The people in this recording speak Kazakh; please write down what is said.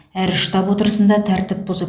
әр штаб отырысында тәртіп бұзып